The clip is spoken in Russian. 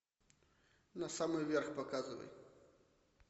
на самый верх показывай